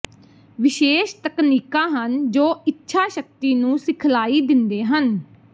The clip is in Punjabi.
ਵਿਸ਼ੇਸ਼ ਤਕਨੀਕਾਂ ਹਨ ਜੋ ਇੱਛਾ ਸ਼ਕਤੀ ਨੂੰ ਸਿਖਲਾਈ ਦਿੰਦੇ ਹਨ